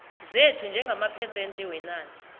zethu njengamaphesente wenani